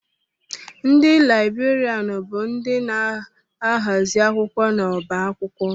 Ndị Laịberian bụ ndị na-ahazi akwụkwọ n'ọbá akwụkwọ.